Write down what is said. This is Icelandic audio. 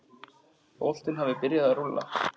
Boltinn hafi byrjað að rúlla.